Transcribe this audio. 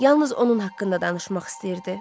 Yalnız onun haqqında danışmaq istəyirdi.